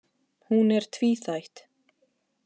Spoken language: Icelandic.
Hún er tvíþætt